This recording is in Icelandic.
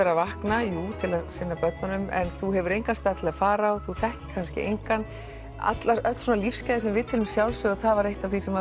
vakna jú til að sinna börnunum en þú hefur engan stað til að fara á þú þekkir kannski engan öll lífsgæði sem við teljum sjálfsögð það var eitt af því sem